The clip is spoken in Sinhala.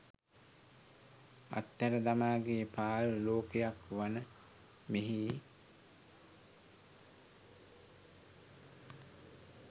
අත් හැර දමා ගිය පාළු ලෝකයක් වන මෙහි